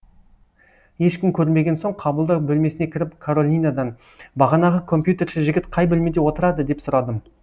ешкім көрінбеген соң қабылдау бөлмесіне кіріп каролинадан бағанағы компьютерші жігіт қай бөлмеде отырады деп сұрадым